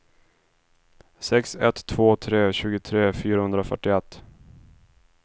sex ett två tre tjugotre fyrahundrafyrtioett